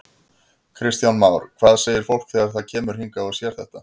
Kristján Már: Hvað segir fólk þegar það kemur hingað og sér þetta?